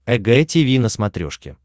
эг тиви на смотрешке